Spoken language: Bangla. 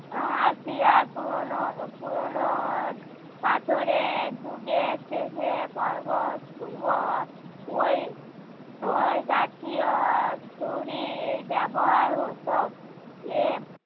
হাতিয়ার। পুরোনো উহ পুরোনো পাথরের যুগের শেষে পর্বত পূর্ব ওই, ওই জাতীয় ছুরির ব্যবহার হতো। এর